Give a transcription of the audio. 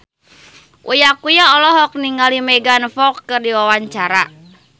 Uya Kuya olohok ningali Megan Fox keur diwawancara